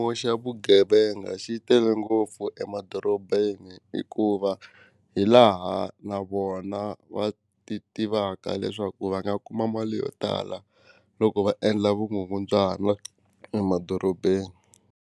Vugevenga xi tele ngopfu emadorobeni hikuva hi laha na vona va ti tivaka leswaku va nga kuma mali yo tala loko va endla vugungundzwana emadorobeni.